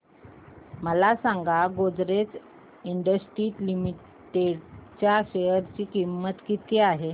मला सांगा Godrej industries limited च्या शेअर ची किंमत किती आहे